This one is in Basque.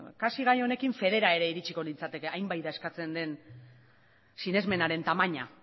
kasi gai honekin federa ere iritsiko nintzateke hain bai da eskatzen den sinesmenaren tamaina